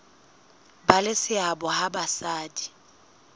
ba le seabo ha basadi